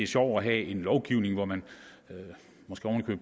sjovt at have en lovgivning hvor man måske oven i